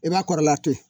I b'a kɔrɔla to yen